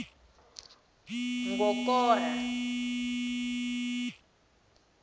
ngokora